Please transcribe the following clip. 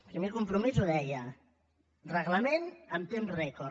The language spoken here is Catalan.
primer compromís ho deia reglament en temps rècord